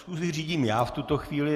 Schůzi řídím já v tuto chvíli.